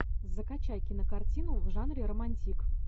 закачай кинокартину в жанре романтик